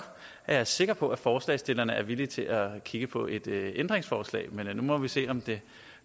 jeg sikker på at forslagsstillerne er villige til at kigge på et ændringsforslag men nu må vi se om det